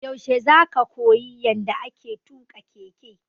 Yaushe za ka koyi yanda ake tuƙa keke?